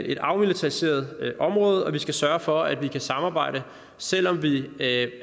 et afmilitariseret område og vi skal sørge for at vi kan samarbejde selv om vi er